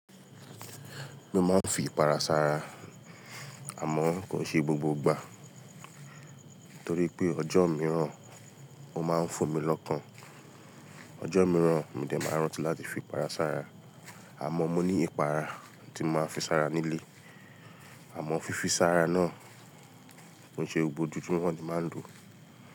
Mo máa ń fi ipara sára, àmọ́ kò ṣe gbogbo ìgbà torí pé ọjọ́ mìíràn ó máa ń fò mí lọ́kàn. Ọjọ́ mìíràn mo dẹ̀ máa ń rántí láti fi ipara sára, àmọ́ mo ní ìpara tí màá ń fi sára nílé. Àmọ́ fífi sára náà kò ń ṣe gbogbo ojojumọ ní máa ń lò.